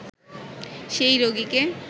সেই রোগিকে